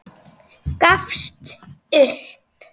Gafst upp.